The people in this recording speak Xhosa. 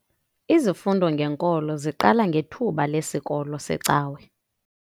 Izifundo ngenkolo ziqala ngethuba lesikolo secawa.